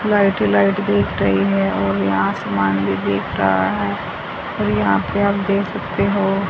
Light ही light दिख रही है और ये आसमान भी दिख रहा है और यहां पे आप देख सकते हो।